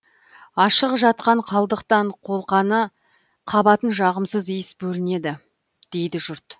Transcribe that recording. ашық жатқан қалдықтан қолқаны қабатын жағымсыз иіс бөлінеді дейді жұрт